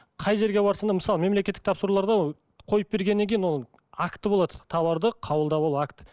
қай жерге барсаң да мысалы мемлекеттік тапсыруларда қойып бергеннен кейін ол акті болады тауарды қабылдап алу акт